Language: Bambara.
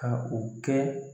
Ka o kɛ